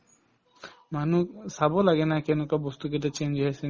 মানুহক চাব লাগে না কেনেকুৱা বস্তু কেইটা change হৈ আছে নে